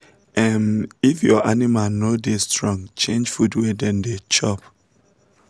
um if your animal no da strong change food wey dem da chop